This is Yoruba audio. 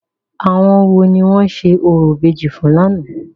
Àwọn wo ni wọ́n ṣe orò ìbejì fún lánàá?